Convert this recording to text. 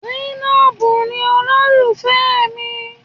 Zainab ni olólùfẹ́ mi.